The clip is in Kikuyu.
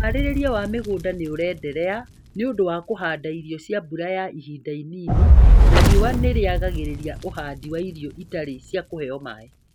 Ũharĩria wa mĩgunda nĩurenderea nĩũndũ wa kũhanda irio cia mbura ya ihinda inini na riũa nĩ rĩagagĩria ũhandi wa irio itarĩ cia kũheo maĩ